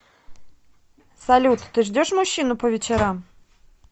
салют ты ждешь мужчину по вечерам